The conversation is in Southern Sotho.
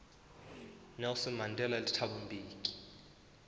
nelson mandela le thabo mbeki